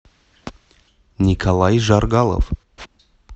николай жаргалов